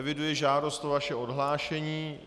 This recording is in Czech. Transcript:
Eviduji žádost o vaše odhlášení.